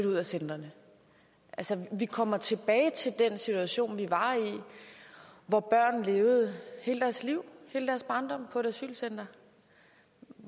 ud af centrene altså vi kommer tilbage til den situation vi var i hvor børn levede hele deres liv hele deres barndom på et asylcenter